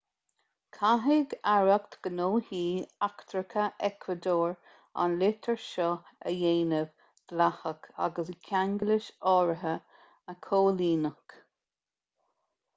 caithfidh aireacht gnóthaí eachtracha eacuadór an litir seo a dhéanamh dleathach agus ceanglais áirithe a chomhlíonadh